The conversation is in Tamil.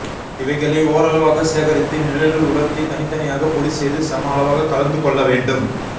இவைகளை ஓரளவாக சேகரித்து நிழலில் உலர்த்தி தனி தனியாக பொடி செய்து சம அளவாக கலந்து கொள்ள வேண்டும்